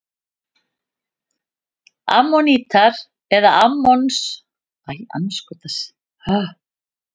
Ammonítar eða ammonshorn er undirflokkur sælindýra af flokki kolkrabba.